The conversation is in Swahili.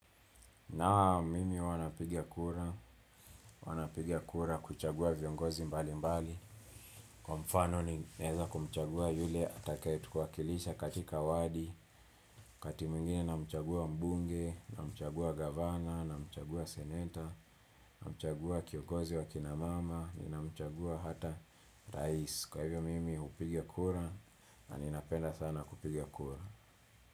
Naam mimi huwa napigia kura, huwa napiga kura kuchagua viongozi mbalimbali, kwa mfano ninaeza kumchagua yule atakaye tuwakilisha katika wadi, wakati mwingine namchagua mbunge, namchagua governor, namchagua senator, namchagua kiogozi wa kina mama, na mchagua hata rice. Kwa hivyo mimi hupiga kura na ninapenda sana kupiga kura.